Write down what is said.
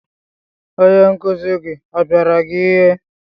Onye nkuzi gị ọ pịara gị ihe?